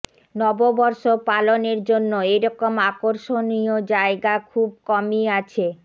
নববর্ষ পালনের জন্য এরকম আকর্ষণীয় জায়গা খুব কমই আছে